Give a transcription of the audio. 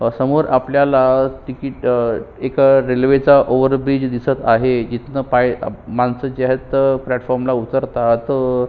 समोर आपल्याला टिकिट एका रेल्वे च ओवर ब्रिज दिसत आहे इथंन पाय माणसं जे आहेत ती प्लॅटफॉर्म ला उतरतात.